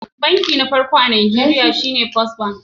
Banki na farko a najeriya shine First bank